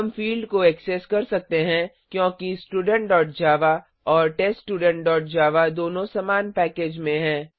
हम फिल्ड को ऐक्सेस कर सकते हैं क्योंकि studentजावा और teststudentजावा दोनों समान पैकेज में हैं